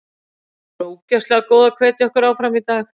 Þau voru ógeðslega góð að hvetja okkur áfram í dag.